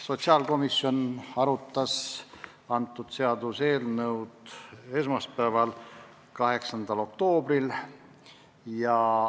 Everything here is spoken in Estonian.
Sotsiaalkomisjon arutas seaduseelnõu esmaspäeval, 8. oktoobril.